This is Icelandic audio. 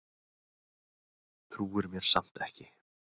Trúir mér samt ekki.